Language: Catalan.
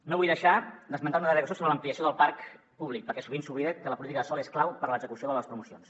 no vull deixar d’esmentar una darrera qüestió sobre l’ampliació del parc públic perquè sovint s’oblida que la política de sòl és clau per a l’execució de les promocions